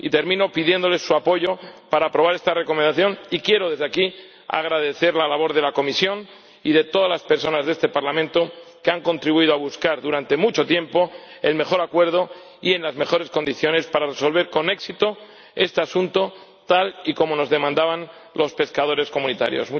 Y termino pidiéndoles su apoyo para aprobar esta Recomendación, y quiero desde aquí agradecer la labor de la comisión y de todas las personas de este Parlamento que han contribuido a buscar durante mucho tiempo el mejor acuerdo y en las mejores condiciones para resolver con éxito este asunto, tal y como nos demandaban los pescadores comunitarios.